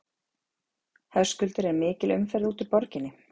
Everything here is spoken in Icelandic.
Höskuldur er mikil umferð út úr borginni?